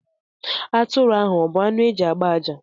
Atụrụ ahù a bu anụ e ji agbá àjá